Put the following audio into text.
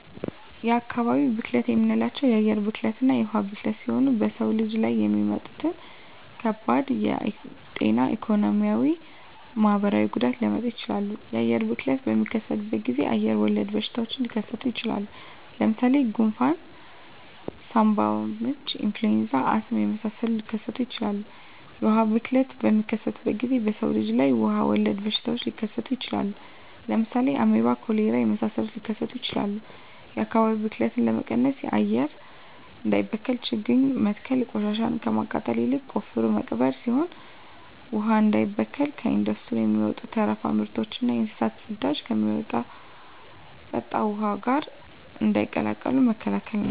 የአካባቢ ብክለት የምንላቸው የአየር ብክለትና የውሀ ብክለት ሲሆኑ በሰው ልጅ ላይ የሚያመጡት ከባድ የጤና የኢኮኖሚ የማህበራዊ ጉዳት ሊያመጡ ይችላሉ። የአየር ብክለት በሚከሰትበት ጊዜ አየር ወለድ በሽታዎች ሊከሰቱ ይችላል። ለምሳሌ ጉንፍን ሳምባምች ኢንፍሉዌንዛ አስም የመሳሰሉትን ሊከሰቱ ይችላሉ። የውሀ ብክለት በሚከሰትበት ጊዜ በሰው ልጅ ላይ ውሀ ወለድ በሽታዎች ሊከሰቱ ይችላሉ። ለምሳሌ አሜባ ኮሌራ የመሳሰሉት ሊከሰቱ ይችላሉ። የአካባቢ ብክለት ለመቀነስ አየር እንዳይበከል ችግኝ መትከል ቆሻሻን ከማቃጠል ይልቅ ቆፍሮ መቅበር ሲሆን ውሀ እንዳይበከል ከኢንዱስትሪ የሚወጡ ተረፈ ምርቶችና የእንስሳት ፅዳጅን ከሚጠጣ ውሀ ጋር እንዳይቀላቀሉ መከላከል ናቸው።